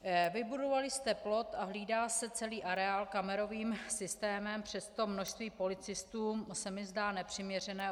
Vybudovali jste plot a hlídá se celý areál kamerovým systémem, přesto množství policistů se mi zdá nepřiměřené.